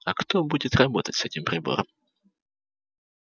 а кто будет работать с этим прибором